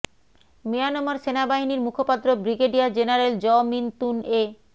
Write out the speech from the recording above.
Myanmar সেনাবাহিনীর মুখপাত্র brigadier general Zaw Min Tun এ